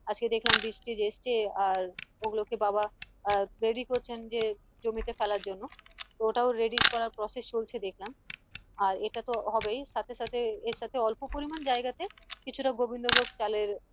আজকে দেখলাম বীজ টিজ এসছে আর ওগুলো কে বাবা আহ করছেন যে জমিতে ফেলার জন্য তো ওটাও ready করার process চলছে দেখলাম আর এটা তো হবেই সাথে সাথে অল্প পরিমান জায়গা তে কিছুটা গোবিন্দ ভোগ চালের